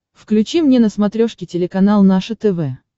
включи мне на смотрешке телеканал наше тв